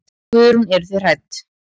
Guðrún: Eruð þið hrædd?